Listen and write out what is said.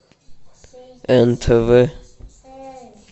нтв